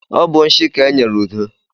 Ọ bụ nshi ka e nyere Udo.